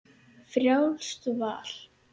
Frjálst val!